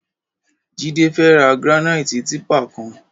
Jide fè rà grànaiti tìpá kán